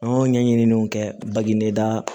An y'o ɲɛɲini kɛ bagida